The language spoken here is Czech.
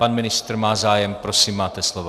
Pan ministr má zájem, prosím, máte slovo.